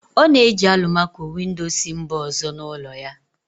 Ọ na-eji alụmaco-windo si mba ọzọ n'ụlọ ya